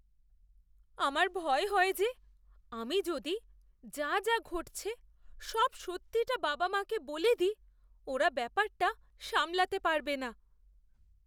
আমার ভয় হয় যে আমি যদি যা যা ঘটছে সব সত্যিটা বাবা মাকে বলে দিই, ওরা ব্যাপারটা সামলাতে পারবে না।